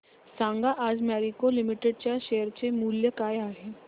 सांगा आज मॅरिको लिमिटेड च्या शेअर चे मूल्य काय आहे